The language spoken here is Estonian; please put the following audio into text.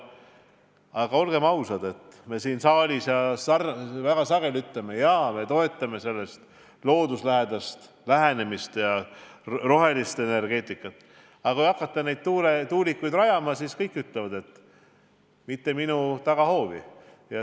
Aga olgem ausad, me siin saalis väga sageli kinnitame, et me toetame looduslähedast lähenemist ja rohelist energeetikat, aga kui tahetakse hakata tuulikuid rajama, siis kõik ütlevad, et mitte minu tagahoovi.